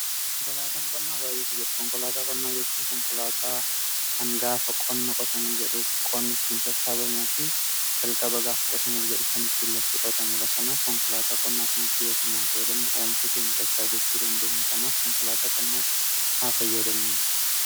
konkolaataan qonnaa baay'eetu jira. konkolaataa qonnaa jechuu konkolaataa kan gaafa qonna qotamee jedhu qonnittiin sassaabamuu fi jalqaba gaafa qotamuuf jedhu kan ittin lafti qotamudha. kanaaf konkolaataa qonnaa kanatti yoo sirnaan fayadamne oomisha keenya dachaa gochuu dandeenya kanaaf konkolaataa qonnaatti haa fayyaadamnuun.